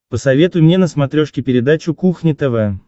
посоветуй мне на смотрешке передачу кухня тв